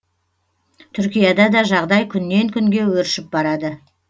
түркияда да жағдай күннен күнге өршіп барады